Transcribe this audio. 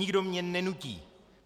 Nikdo mě nenutí.